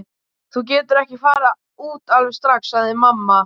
Þú getur ekki farið út alveg strax, sagði mamma.